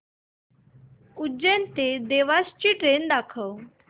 उज्जैन ते देवास ची ट्रेन दाखव